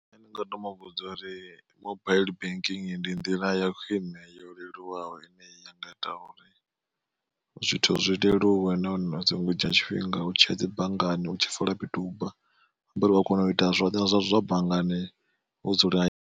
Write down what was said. Nṋe ndi nga to muvhudza uri mobaiḽi banking ndi nḓila ya khwine yo leluwaho ine ya nga ita uri zwithu zwi leluwe na hone zwi so ngo dzhia tshifhinga u tshiya dzi banngani u tshi fola miduba uya kona u ita zwoṱhe zwa banngani wo dzula.